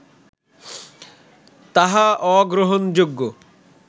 তাহা অগ্রহণযোগ্য